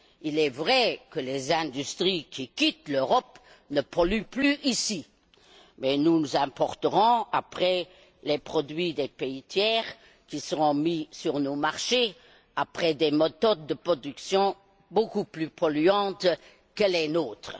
Il est vrai que les industries qui quittent l'Europe ne polluent plus ici, mais nous importerons plus tard les produits des pays tiers qui seront mis sur nos marchés avec des méthodes de production beaucoup plus polluantes que les nôtres.